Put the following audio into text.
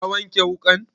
Ka wanke wuƙan?